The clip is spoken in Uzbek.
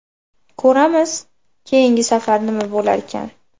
Ko‘ramiz, keyingi safar nima bo‘larkan?!